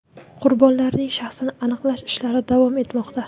Qurbonlarning shaxsini aniqlash ishlari davom etmoqda.